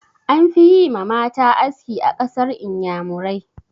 An fi yi ma mata aski a ƙasar inyamurai.